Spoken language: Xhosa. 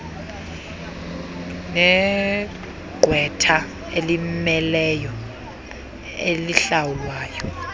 negqwetha elimmeleyo elihlawulwa